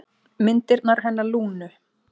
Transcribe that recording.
Myndirnar hennar Lúnu.